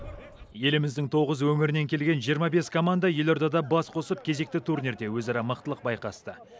еліміздің тоғыз өңірінен келген жиырма бес команда елордада бас қосып кезекті турнирде өзара мықтылық байқасты